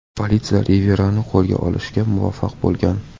Politsiya Riverani qo‘lga olishga muvaffaq bo‘lgan.